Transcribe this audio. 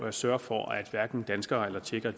at sørge for at hverken danskere eller tjekker